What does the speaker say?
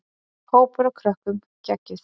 Hópur af krökkum: Geggjuð.